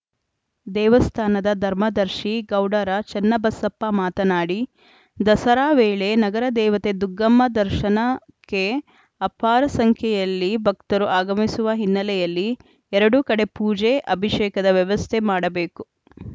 ದೇವಸ್ಥಾನದ ಧರ್ಮದರ್ಶಿ ಗೌಡರ ಚನ್ನಬಸಪ್ಪ ಮಾತನಾಡಿ ದಸರಾ ವೇಳೆ ನಗರ ದೇವತೆ ದುಗ್ಗಮ್ಮನ ದರ್ಶನಕ್ಕೆ ಅಪಾರ ಸಂಖ್ಯೆಯಲ್ಲಿ ಭಕ್ತರು ಆಗಮಿಸುವ ಹಿನ್ನೆಲೆಯಲ್ಲಿ ಎರಡು ಕಡೆ ಪೂಜೆ ಅಭಿಷೇಕದ ವ್ಯವಸ್ಥೆ ಮಾಡಬೇಕು